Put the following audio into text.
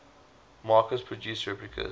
makers produce replicas